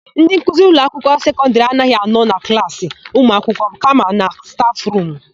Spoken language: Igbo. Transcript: Ndị nkuzi ụlọakwụkwọ sekọndịrị anaghị anọ na klaasị ụmụakwụkwọ kama na stafụrumu.